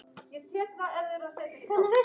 Sama gildir um börnin þeirra.